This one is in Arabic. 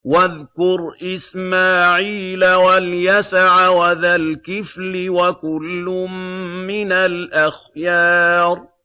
وَاذْكُرْ إِسْمَاعِيلَ وَالْيَسَعَ وَذَا الْكِفْلِ ۖ وَكُلٌّ مِّنَ الْأَخْيَارِ